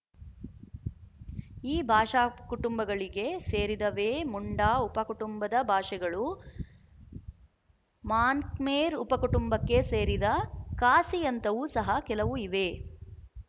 ಈ ಭಾಷಾ ಕುಟುಂಬಗಳಿಗೆ ಸೇರಿದವೇ ಮುಂಡಾ ಉಪಕುಟುಂಬದ ಭಾಷೆಗಳು ಮಾನ್ಖ್ಮೇರ್ ಉಪಕುಟುಂಬಕ್ಕೆ ಸೇರಿದ ಖಾಸಿಯಂಥವು ಸಹ ಕೆಲವು ಇವೆ